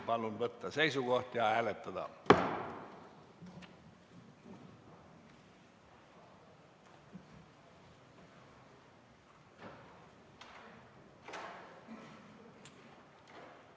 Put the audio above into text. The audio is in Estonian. Palun võtta seisukoht ja hääletada!